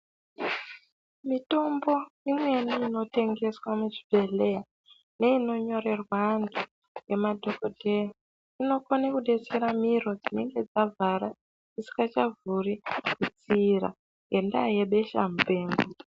Mitombo imweni inotengeswa muchibhedhleya neinonyorerwe antu nge madhokodheya inokone kubatsura miro dzinenge dzavhara dzisi ngachavhuri ngenyaya yebesha mupengo.